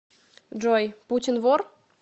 джой путин вор